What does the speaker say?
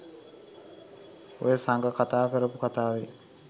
ඔය සඟ කතා කරපු කතාවේ